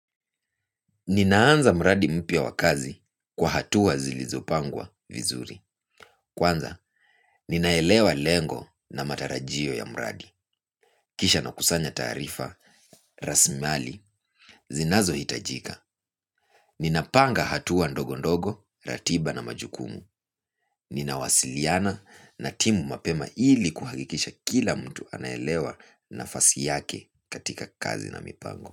Ninaanza mradi mpya wa kazi kwa hatua zilizopangwa vizuri. Kwanza, ninaelewa lengo na matarajio ya mradi. Kisha nakusanya taarifa, rasimali, zinazohitajika. Ninapanga hatua ndogo ndogo ratiba na majukumu. Ninawasiliana na timu mapema hili kuhakikisha kila mtu anaelewa nafasi yake katika kazi na mipango.